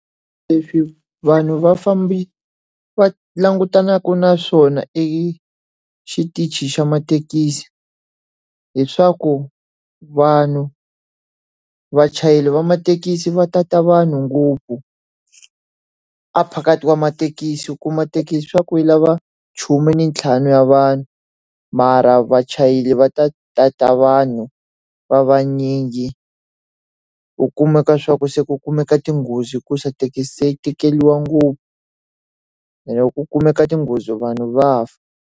Leswi vanhu vafambi va langutanaka na swona e xitichi xa mathekisi, hileswaku vanhu vachayeri va mathekisi va tata vanhu ngopfu a phakathi ka mathekisi. U kuma thekisi swa ku yi lava khume ni ntlhanu ya vanhu, mara vachayeri va ta ta ta vanhu va vanyingi. U kumeka swa ku se ku kumeka tinghozi hikuva thekisi se yi tekeriwa ngopfu, ene loko ku kumeka tinghozi vanhu va fa.